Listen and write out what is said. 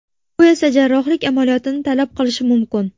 Bu esa jarrohlik amaliyotini talab qilishi mumkin.